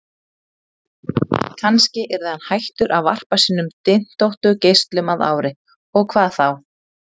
Kannski yrði hann hættur að varpa sínum dyntóttu geislum að ári, og hvað þá?